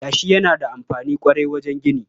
Yashi yana da amfani ƙwarai wajen gini.